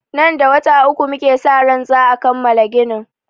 Nan da wata uku muke sa ran za'a kammala ginin.